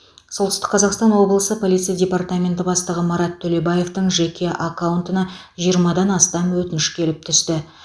солтүстік қазақтан облысы полиция департаменті бастығы марат төлебаевтың жеке аккаунтына жиырмадан астам өтініш келіп түсті